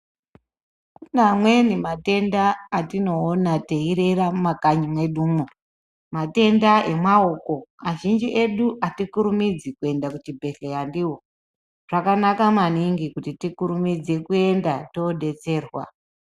Kune amweni matenda atinoona teirera mumakanyi mwedu umo. Matenda emaoko. Azhinji edu atikurumidzi kuenda kuchibhehleya ndiwo. Zvakanaka maningi kuti tikurumidze kuenda todetserwa.